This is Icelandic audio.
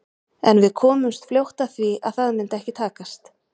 En við komumst fljótt að því að það myndi ekki takast.